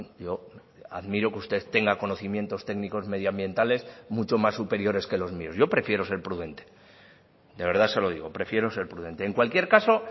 yo admiro que usted tenga conocimientos técnicos medioambientales mucho más superiores que los míos yo prefiero ser prudente de verdad se lo digo prefiero ser prudente en cualquier caso